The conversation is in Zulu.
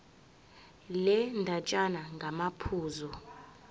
le ndatshana ngamaphuzu